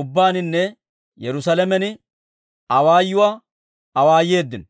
ubbaaninne Yerusaalamen awaayuwaa awaayeeddino.